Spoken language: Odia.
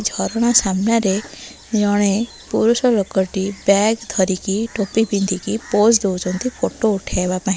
ଝରଣା ସାମ୍ନାରେ ଜଣେ ପୁରୁଷ ଲୋକଟି ବ୍ୟାଗ୍ ଧରିକି ଟୋପି ପିନ୍ଧିକି ପୋଜ ଦଉଛନ୍ତି ଫଟୋ ଉଠେଇବା ପାଇଁ।